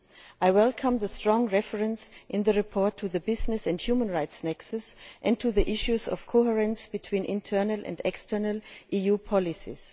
I welcome the strong reference in the report to the business and human rights nexus and to the issues of coherence between internal and external EU policies.